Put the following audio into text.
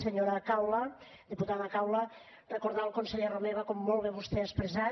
senyora caula diputada caula recordar el conseller romeva com molt bé vostè ha expressat